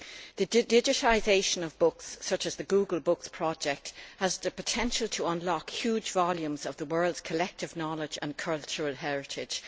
The digitisation of books, such as the Google Books Project, has the potential to unlock huge volumes of the world's collective knowledge and cultural heritage.